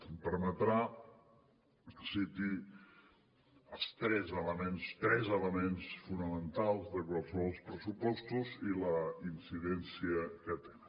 em permetrà que citi els tres elements tres elements fonamentals de qualssevol pressupostos i la incidència que tenen